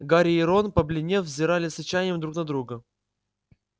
гарри и рон побледнев взирали с отчаянием друг на друга